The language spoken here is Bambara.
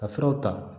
Ka furaw ta